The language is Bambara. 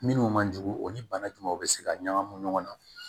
Minnu man jugu o ni bana jumɛn bɛ se ka ɲagamu ɲɔgɔn na